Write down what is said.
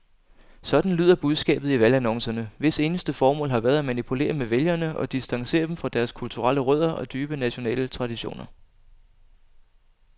Sådan lyder budskabet i valgannoncerne, hvis eneste formål har været at manipulere med vælgere og distancere dem fra deres kulturelle rødder og dybe nationale traditioner.